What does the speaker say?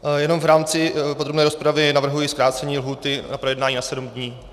Jenom v rámci podrobné rozpravy navrhuji zkrácení lhůty na projednání na sedm dnů.